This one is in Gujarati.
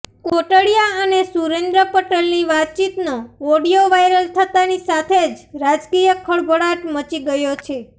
કોટડિયા અને સુરેન્દ્ર પટેલની વાતચીતનો ઓડિયો વાયરલ થતાંની સાથે જ રાજકીય ખળભળાટ મચી ગયો છે